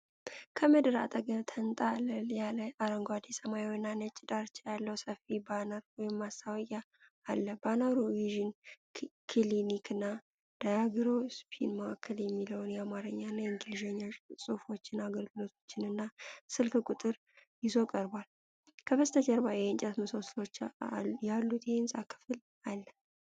ከምድር አጠገብ ተንጣለል ያለ፣ አረንጓዴ፣ ሰማያዊና ነጭ ዳርቻ ያለው ሰፊ ባነር (ማስታወቂያ) አለ። ባነሩ ቪዥን ክሊኒክና ዳያግኖስቲክ ማዕከል የሚለውን የአማርኛና የእንግሊዝኛ ጽሑፎችን፣ አገልግሎቶችን እና ስልክ ቁጥር ይዞ ቀርቧል። ከበስተጀርባ የእንጨት ምሰሶዎች ያሉት የሕንፃ ክፍል አለ።